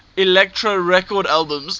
elektra records albums